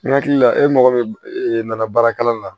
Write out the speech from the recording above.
N hakili la e mago bɛ e nana baarakɛla la